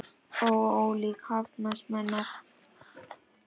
Já, ólíkt hafast menn að.